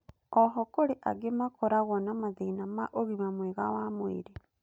oho kũrĩ angĩ makoragwo na mathĩna ma ũgima mwega wa mwĩrĩ